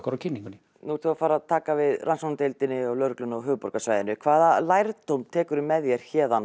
á kynningunni nú ert þú að fara að taka við rannsóknardeild lögreglunnar á höfuðborgarsvæðinu hvaða lærdóm tekurðu með þér